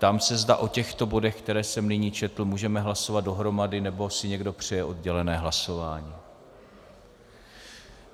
Ptám se, zda o těchto bodech, které jsem nyní četl, můžeme hlasovat dohromady - nebo si někdo přeje oddělené hlasování?